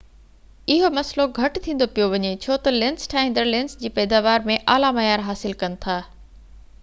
اهو مسئلو گهٽ ٿيندو پيو وڃي ڇو تہ لينس ٺاهيندڙ لينس جي پئداوار ۾ اعليٰ معيار حاصل ڪن ٿا